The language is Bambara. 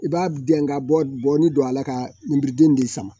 I b'a dɛn ka bɔ ni don a la ka ninbriden de sama